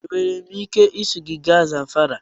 Enwere m ike iso gị gaa Zamfara?